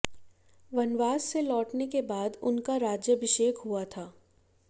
वनवास से लौटने के बाद उनका राज्याभिषेक हुआ था